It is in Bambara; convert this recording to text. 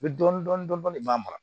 Bɛ dɔɔnin dɔɔnin b'a mara